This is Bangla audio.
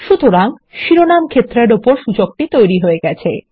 সুতরাং শিরোনাম ক্ষেত্রের উপর সূচকটি তৈরী হয়েছে